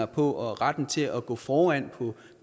på og retten til at gå foran på